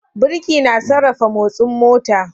Birki na sarrafa motsin mota.